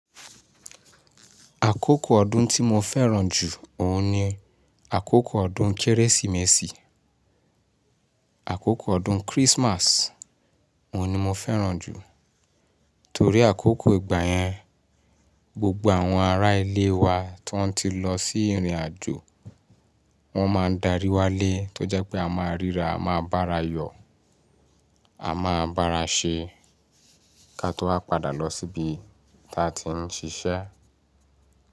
Àkókò ọdún tí mo fẹ́ràn jù òun ni àkókò ọdún Kérésìmesì. Àkókò ọdún Christmas òun ni mo fẹ́ràn jù. Torí àkókò ìgbà yẹn, gbogbo àwọn ará ilé wa tó ń ti lọ sí ìrìnàjò wọ́n máa darí wálé tó jẹ́ pé a máa ríra, a máa bára yọ̀, a máa bára ṣe, ká tó wá padà lọ síbi tí a ti ń ṣiṣẹ́.